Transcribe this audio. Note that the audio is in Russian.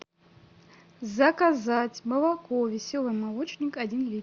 заказать молоко веселый молочник один литр